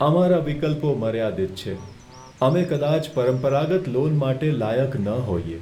અમારા વિકલ્પો મર્યાદિત છે! અમે કદાચ પરંપરાગત લોન માટે લાયક ન હોઈએ.